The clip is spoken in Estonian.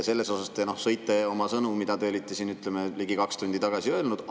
Selles mõttes te sõite oma sõnu, mis te siin ligi kaks tundi tagasi ütlesite.